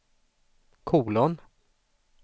kolon